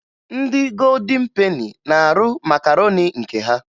Ndị Godin Peni na-arụ makaroni nke ha